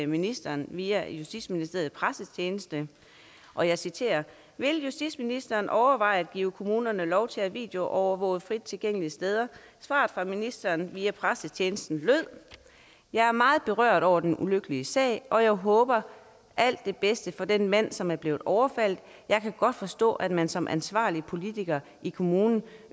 ministeren via justitsministeriets pressetjeneste og jeg citerer vil justitsministeren overveje at give kommunerne lov til at videoovervåge frit tilgængelige steder svaret fra ministeren via pressetjenesten lød jeg er meget berørt over den ulykkelige sag og jeg håber alt det bedste for den mand som er blevet overfaldet jeg kan godt forstå at man som ansvarlig politiker i kommunen